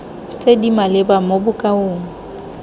tse di maleba mo bokaong